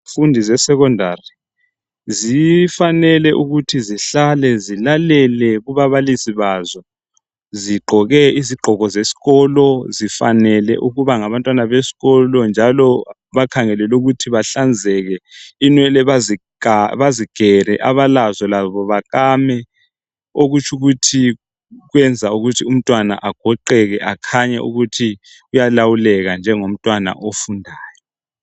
Abafundi besekhondari kufanele ukuthi bahlale balalele kubabalisi babo bagqoke izigqoko zesikolo befanele ukuba ngabantwana besikolo. Kumele bahlanzeke bagele amakhanda kuthi abalenwele bakame. Lokhu kwenza abantwana bagoqeke kukhanye ukuthi bayalawuleka njengabafundi.